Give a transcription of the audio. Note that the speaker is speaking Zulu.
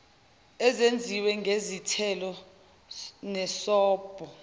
ezenziwe ngezithelo nesobho